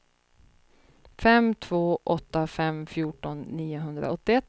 fem två åtta fem fjorton niohundraåttioett